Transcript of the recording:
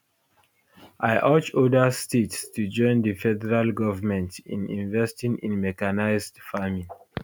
i urge oda states to join di federal government in investing in mechanised farming